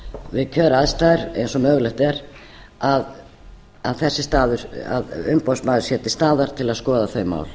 fyrirrúmi við þær aðstæður eins og mögulegt er að umboðsmaður sé til staðar til að skoða þau mál